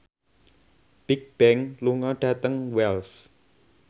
Bigbang lunga dhateng Wells